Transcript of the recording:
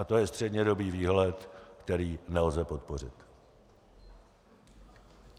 A to je střednědobý výhled, který nelze podpořit.